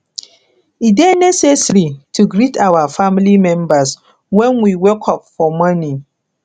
e de necessary to greet our family members when we wake up for morning